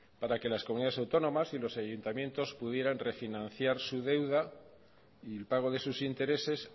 para que las comunidades autónomas y los ayuntamientos pudieran refinanciar su deuda y el pago de sus intereses